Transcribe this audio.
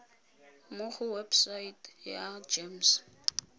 mo go website ya gems